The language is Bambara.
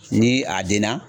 Ni a den na